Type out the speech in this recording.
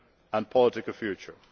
and political future.